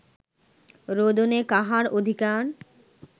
রোদনে কাহার অধিকার